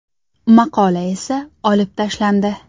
Maqola esa olib tashlandi.